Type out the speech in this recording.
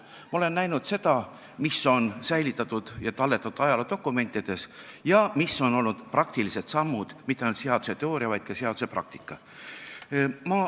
Ma olen näinud seda, mis on säilitatud ja talletatud ajaloodokumentides, ja mis on olnud praktilised sammud, mitte ainult seaduse teooria, vaid ka seaduse praktika.